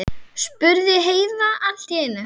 spurði Heiða allt í einu.